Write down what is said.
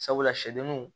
Sabula sɛdenw